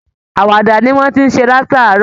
Àwàdà ni wọ́n ti ǹ ṣe látàárọ̀